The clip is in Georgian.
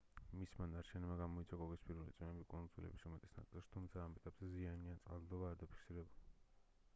მისმა ნარჩენებმა გამოიწვია კოკისპირული წვიმები კუნძულების უმეტეს ნაწილში თუმცა ამ ეტაპზე ზიანი ან წყალდიდობა არ დაფიქსირებულა